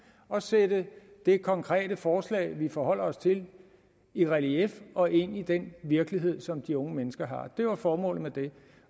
og sætte det konkrete forslag vi forholder os til i relief og ind i den virkelighed som de unge mennesker har det var formålet med det